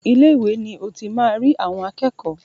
Ilé ìwé ni o ti máa rí àwọn akẹ́kọ̀ọ́.